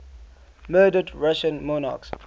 murdered russian monarchs